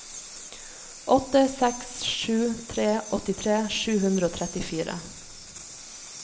åtte seks sju tre åttitre sju hundre og trettifire